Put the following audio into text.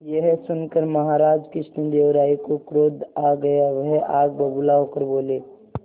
यह सुनकर महाराज कृष्णदेव राय को क्रोध आ गया वह आग बबूला होकर बोले